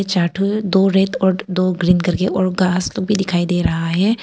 चार ठो दो रेड और दो ग्रीन करके और उनका भी दिखाई दे रहा है।